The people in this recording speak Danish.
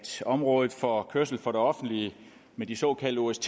området for kørsel for det offentlige med de såkaldte ost